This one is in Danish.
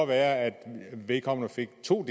være at vedkommende fik to